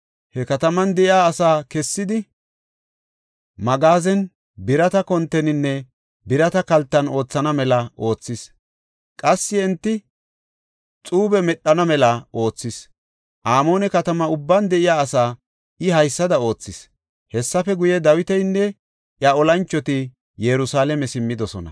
He kataman de7iya asaa kessidi, magaazen, birata konteninne birata kaltan oothana mela oothis. Qassi enti xuube medhana mela oothis. Amoone katama ubban de7iya asaa I haysada oothis. Hessafe guye, Dawitinne iya olanchoti Yerusalaame simmidosona.